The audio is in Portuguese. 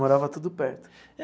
Morava tudo perto.